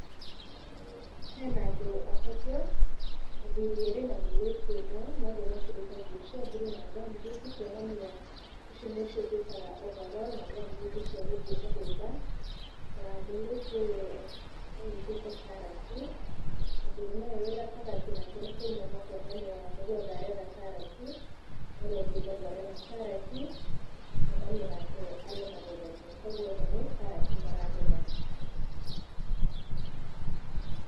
Hena andũ atatũ, athurĩ erĩ na mũirĩtu ũmwe, na othe mekĩrĩte nguo cia bulu na ngambuti kuonania, icio nĩcio twitaga ovarolu na gumboot cia gũthiĩ mũgũnda, na mũirĩtu ũyũ anyitĩte karati, na mũndũrũme ũyũ wĩ gatagatĩ nĩ kũinama kwonania onake nĩ gwetha aretha karati, na ũrĩa ũngĩ bado arĩ na karati, nĩ kuonania onake arĩo magetha-inĩ. Kogwo othe nĩ karati maragetha.